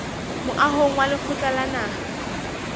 moahong wa lekgotla la naha